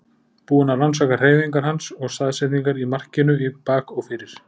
Búinn að rannsaka hreyfingar hans og staðsetningar í markinu í bak og fyrir.